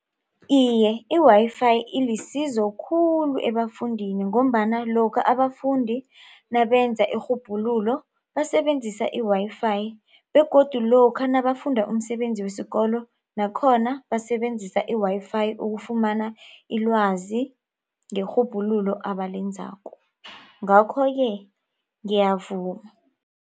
Iye i-Wi-Fi ilisizo khulu ebafundini ngombana lokha abafundi nabenza irhubhululo basebenzisa i-Wi-Fi begodu lokha nabafunda umsebenzi wesikolo nakhona basebenzisa i-Wi-Fi ukufumana ilwazi ngerhubhululo abalenzako ngakho-ke ngiyavuma.